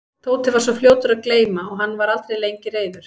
Tóti var svo fljótur að gleyma og hann var aldrei lengi reiður.